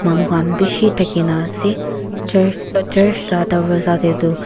manu khan bishi thakia nah ase church church lah darwaza teh duh--